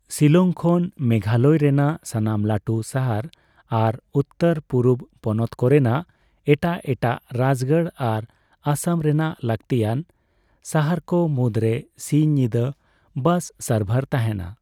ᱥᱤᱞᱚᱝ ᱠᱷᱚᱱ ᱢᱮᱜᱷᱟᱞᱚᱭ ᱨᱮᱱᱟᱜ ᱥᱟᱱᱟᱢ ᱞᱟᱹᱴᱩ ᱥᱟᱦᱟᱨ ᱟᱨ ᱩᱛᱛᱚᱨᱼᱯᱩᱨᱩᱵᱽ ᱯᱚᱱᱚᱛ ᱠᱚᱨᱮᱱᱟᱜ ᱮᱴᱟᱜ ᱮᱴᱟᱜ ᱨᱟᱡᱽᱜᱟᱲ ᱟᱨ ᱟᱥᱟᱢ ᱨᱮᱱᱟᱜ ᱞᱟᱹᱠᱛᱤᱭᱟᱱ ᱥᱟᱦᱟᱨᱠᱚ ᱢᱩᱫᱨᱮ ᱥᱤᱧᱼᱧᱤᱫᱟᱹ ᱵᱟᱥ ᱥᱟᱨᱵᱷᱟᱨ ᱛᱟᱦᱮᱱᱟ ᱾